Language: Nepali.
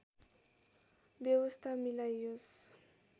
व्यवस्था मिलाइयोस्